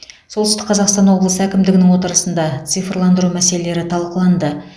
солтүстік қазақстан облысы әкімдігінің отырысында цифрландыру мәселелері талқыланды